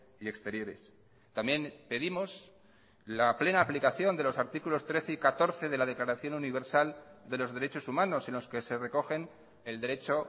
y exteriores también pedimos la plena aplicación de los artículos trece y catorce de la declaración universal de los derechos humanos en los que se recogen el derecho